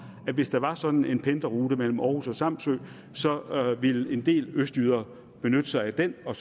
at hvis der var sådan en pendlerrute mellem århus og samsø så ville en del østjyder benytte sig af den og